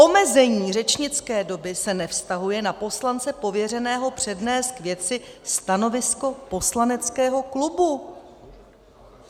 Omezení řečnické doby se nevztahuje na poslance pověřeného přednést k věci stanovisko poslaneckého klubu.